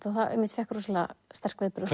og fékk sterk viðbrögð